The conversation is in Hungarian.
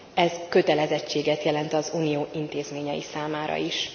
Ez kötelezettséget jelent az Unió intézményei számára is.